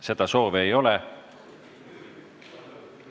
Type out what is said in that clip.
Seda soovi ei ole.